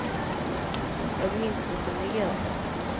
Jag minns det som i går.